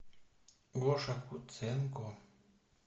гоша куценко